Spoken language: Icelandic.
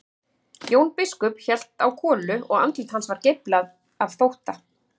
Jón biskup hélt á kolu og andlit hans var geiflað af þótta.